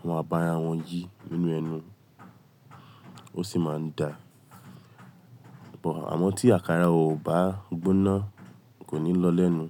wọn á bá ara wọn yìí nínú ẹnu, ó sì máa ń da. Bọ̀ àmọ́ tí àkàrà ò bá gbóná kò ní lọ lẹ́nu.